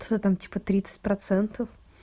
что там типа тридцать процентов